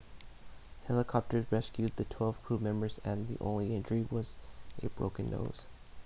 helicopters rescued the twelve crewmembers and the only injury was a broken nose